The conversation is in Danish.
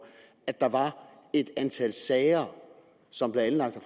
at der var et antal sager som blev anlagt af